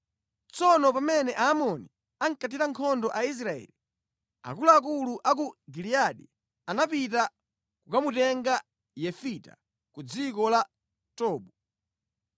Tsono pamene Aamoni ankathira nkhondo Aisraeli, akuluakulu a ku Giliyadi anapita kukamutenga Yefita ku dziko la Tobu.